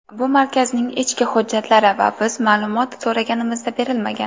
Bu markazning ichki hujjatlari va biz ma’lumoy so‘raganimizda berilmagan.